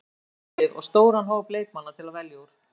Við erum samt með gott lið og stóran hóp leikmanna til að velja úr.